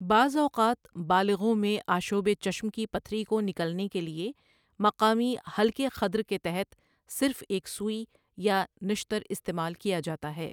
بعض اوقات بالغوں میں آشوب چشم کی پتھری کو نکلنے کے لیے مقامی ہلکے خدر کے تحت صرف ایک سوئی یا نشتر استعمال کیا جاتا ہے۔